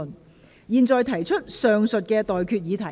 我現在向各位提出上述待決議題。